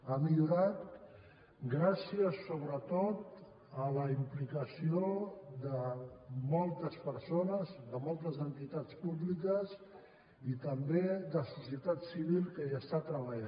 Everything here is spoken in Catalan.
ha millorat gràcies sobretot a la implicació de moltes persones de moltes entitats públiques i també de la societat civil que hi treballa